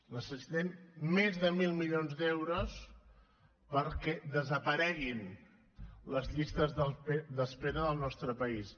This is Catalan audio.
necessitem més de mil milions d’euros perquè desapareguin les llistes d’espera del nostre país